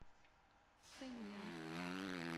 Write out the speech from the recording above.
фэньян